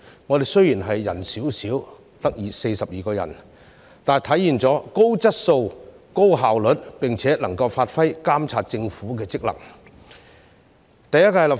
我們雖然人少，只有42人，但體現了高質素、高效率，並且能夠發揮監察政府的職能。